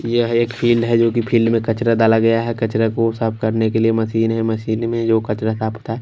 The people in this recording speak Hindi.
यह एक फील्ड है जोकि फील्ड मे कचरा डाला गया है कचरा को साफ करने के लिए मशीन है मशीन में जो कचरा साफ होता--